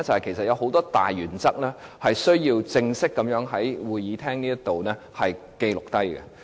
便是有很多大原則需要正式在會議廳內記錄下來。